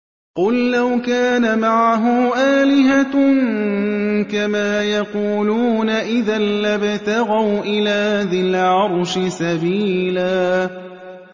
قُل لَّوْ كَانَ مَعَهُ آلِهَةٌ كَمَا يَقُولُونَ إِذًا لَّابْتَغَوْا إِلَىٰ ذِي الْعَرْشِ سَبِيلًا